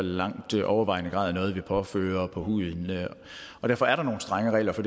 langt overvejende grad er noget vi påfører huden derfor er der nogle strenge regler for